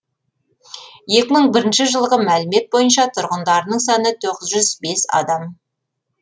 екі мың бірінші жылғы мәлімет бойынша тұрғындарының саны тоғыз жүз бес адам